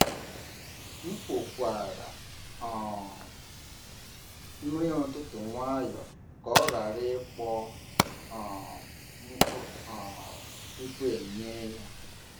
M kpokwara um nri ụtụtụ nwayọọ ka ọ ghara ịkpọọ um nkụ um tupu e nye ya.